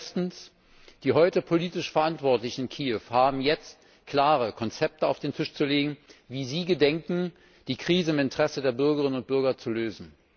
Erstens Die heute politisch Verantwortlichen in Kiew haben jetzt klare Konzepte auf den Tisch zu legen, wie sie gedenken, die Krise im Interesse der Bürgerinnen und Bürger zu lösen.